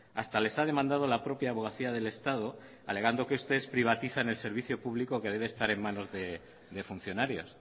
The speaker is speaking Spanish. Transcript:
hasta les ha demandado la propia abogacía del estado alegando que ustedes privatizan el servicio público que debe estar en manos de funcionarios